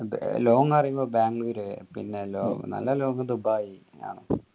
long പറയുമ്പോ ബാംഗ്ലൂർ പിന്നെ നല്ല long ദുബായ്